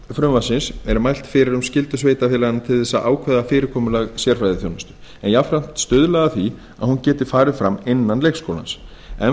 frumvarpsins er mælt fyrir um skyldu sveitarfélaga til að ákveða fyrirkomulag sérfræðiþjónustu en jafnframt stuðla að því að hún geti farið fram innan leikskólans enn